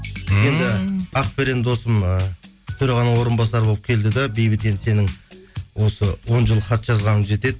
ақберен досым ы төрағаның орынбасары болып келді де бейбіт енді сенің осы он жыл хат жазғаның жетеді